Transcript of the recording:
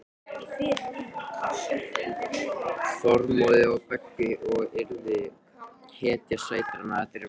Þormóði og Beggu og yrði hetja sveitarinnar.